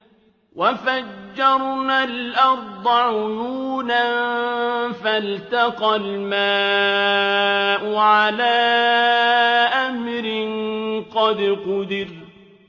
وَفَجَّرْنَا الْأَرْضَ عُيُونًا فَالْتَقَى الْمَاءُ عَلَىٰ أَمْرٍ قَدْ قُدِرَ